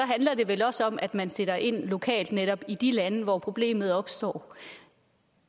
handler det vel også om at man sætter ind lokalt netop i de lande hvor problemet opstår og